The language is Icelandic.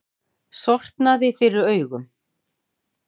Sortnaði fyrir augum.